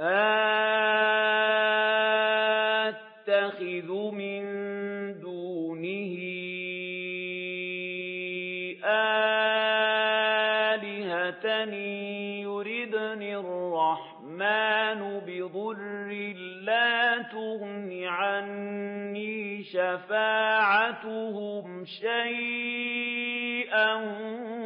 أَأَتَّخِذُ مِن دُونِهِ آلِهَةً إِن يُرِدْنِ الرَّحْمَٰنُ بِضُرٍّ لَّا تُغْنِ عَنِّي شَفَاعَتُهُمْ شَيْئًا